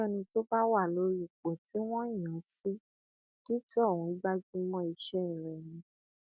ẹnikẹni tó bá wà lórí ipò tí wọn yàn án sí kí tóhun gbájú mọ iṣẹ rẹ ni